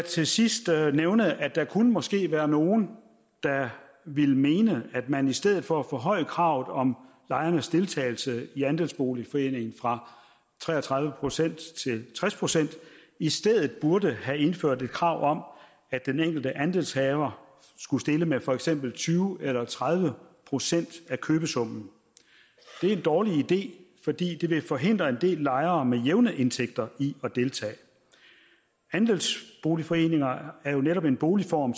til sidst vil jeg nævne at der måske kunne være nogle der ville mene at man i stedet for at forhøje kravet om lejernes deltagelse i en andelsboligforening fra tre og tredive procent til tres procent i stedet burde have indført et krav om at den enkelte andelshaver skulle stille med for eksempel tyve eller tredive procent af købesummen det er en dårlig idé fordi det ville forhindre en del lejere med jævne indtægter i at deltage andelsboligforeninger er jo netop en boligform